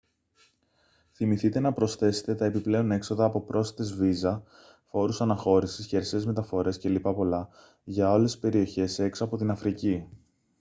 θυμηθείτε να προσθέσετε τα επιπλέον έξοδα από πρόσθετες βίζα φόρους αναχώρησης χερσαίες μεταφορές κ.λπ. για όλες τις περιοχές έξω από την αφρική